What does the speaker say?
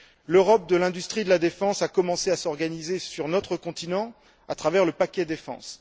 L'Europe de l'industrie et de la défense a commencé à s'organiser sur notre continent à travers le paquet défense.